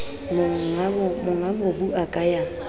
monga mobu a ka ya